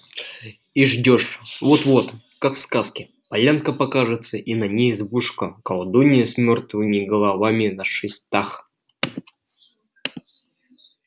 и ждёшь вот-вот как в сказке полянка покажется и на ней избушка колдуньи с мёртвыми головами на шестах